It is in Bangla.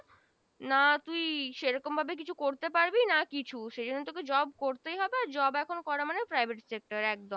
না তুই সে রকম ভাবে কিছু করতে পারবি কিছু সে জন্য তোকে Job করতেই হবে আর Job এখন করা মানে Private Sector একদম